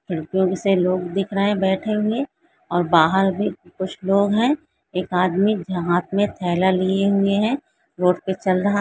लड़कियों से लोग दिख रहे है बैठे हुए और बाहार भी कुछ लोग है एक आदमी जहाँ हाथ में थैला लिए हुए है रोड पे चल रहा--